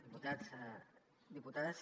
diputats diputades